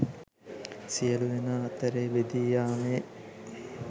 සියලු දෙනා අතරේ බෙදී යාමේ